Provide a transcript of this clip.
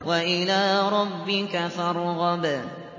وَإِلَىٰ رَبِّكَ فَارْغَب